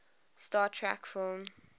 star trek film